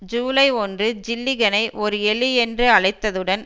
ஜூலை ஒன்று ஜில்லிகனை ஒரு எலி என்று அழைத்ததுடன்